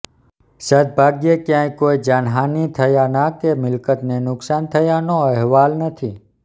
સદ્દભાગ્યે ક્યાંય કોઈ જાનહાનિ થયાના કે મિલકતને નુકસાન થયાનો અહેવાલ નથી